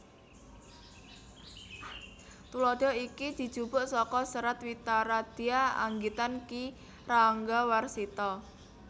Tuladha iki dijupuk saka Serat Witaradya anggitan Ki Ranggawarsita